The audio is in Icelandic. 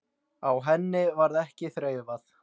Á henni varð ekki þreifað.